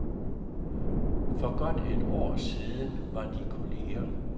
For godt et år siden var de kolleger.